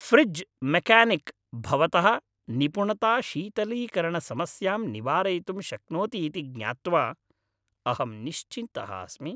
Fridge mechanic, भवतः निपुणता शीतलीकरणसमस्यां निवारयितुं शक्नोति इति ज्ञात्वा अहम् निश्चिन्तः अस्मि।